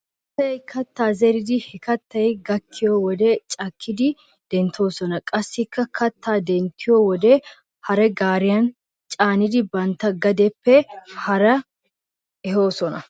Asay katta zeridi he kattay gakkiyo wode cakkidi denttoosona. Qassi kattaa denttiyo wode hare gaariyan caanidi bantta gadeppe kare ehoosona.